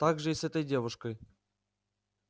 так же и с этой девушкой